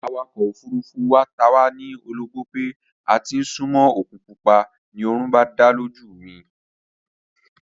Awakọ̀ ofurufú wa ta wá ní ologbó pé a ti ń súnmó òkun pupa, ni oorun bá dá lójú mi